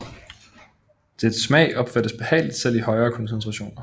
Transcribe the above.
Dets smag opfattes behageligt selv i højere koncentrationer